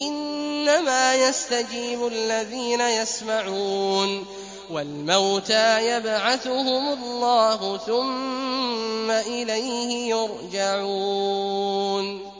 ۞ إِنَّمَا يَسْتَجِيبُ الَّذِينَ يَسْمَعُونَ ۘ وَالْمَوْتَىٰ يَبْعَثُهُمُ اللَّهُ ثُمَّ إِلَيْهِ يُرْجَعُونَ